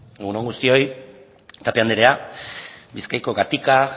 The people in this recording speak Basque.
egun on guztioi tapia anderea bizkaiko gatika